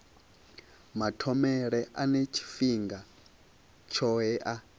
mathomele ane tshifhinga tshohe a